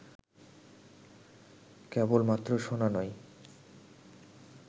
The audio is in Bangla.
কেবলমাত্র শোনা নয়